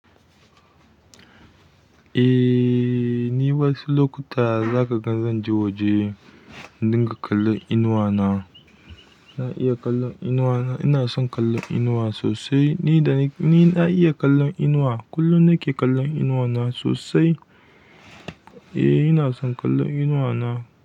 Ehhh ni wasu zakaga zanje waje in dinga kalon inuwa na na iya kallon inuwa na. Ina son kallon inuwa sosai. Ni da ni, ni na iya kallon inuwa. Kullum nake kallon inuwa na sosai. Eh, ina son kallon inuwa na.